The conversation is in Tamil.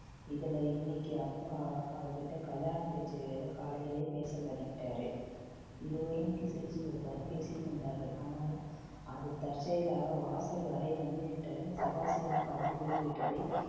இதுல இன்னிக்கி அப்பா அவ~ அவகிட்ட கல்யாண பேச்சை வேற காலையிலே பேச தொடங்கிட்டாரு. இருவரும் கிசுகிசுவாக தான் பேசிக்கொண்டார்கள். ஆனால் அது தற்செயலாக வாசல் வரை வந்து விட்ட சதாசிவம் காதில் விழுந்து விட்டதை